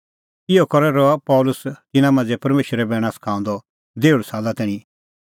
इहअ करै रहअ पल़सी तिन्नां मांझ़ै परमेशरे बैणा सखाऊंदअ देहुल़ साला तैणीं